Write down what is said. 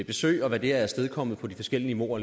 besøg og hvad det har afstedkommet på de forskellige niveauer